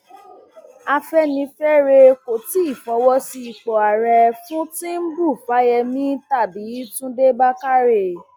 afẹnifẹre kò tí ì fọwọ sí ipò ààrẹ fún tìǹbù fáyẹmì tàbí túndé bákárẹ